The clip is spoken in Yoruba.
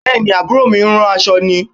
Bẹ́ẹ̀ ni, àbúrò ń rán aṣọ ni